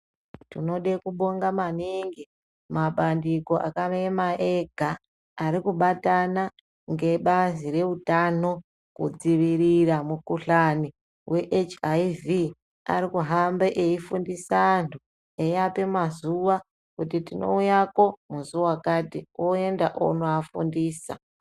Tinoda kubonga maningi mabandiko akaema ega arikubatana ngebazi reutano kudzivirira mukhuhlane weHIV. Arikuhambe eifundise antu eiape mazuwa kuti tinouyako musi wakati, oenda onovafundisa.